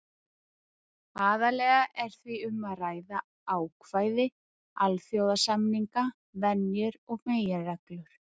Aðallega er því um að ræða ákvæði alþjóðasamninga, venjur og meginreglur.